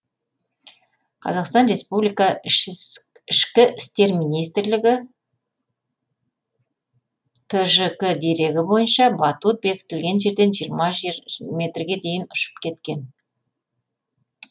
қазақстан республикасы ішкі істер министрлігі тжк дерегі бойынша батут бекітілген жерден жиырма метрге дейін ұшып кеткен